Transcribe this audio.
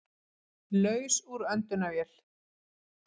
Laus úr öndunarvél